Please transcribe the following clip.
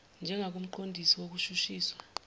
njengakumqon disi wokushushiswa